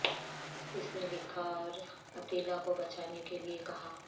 اس نے لکھا اور عطیلا کو بچانے کے لئے کہا